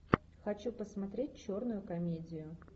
хочу посмотреть черную комедию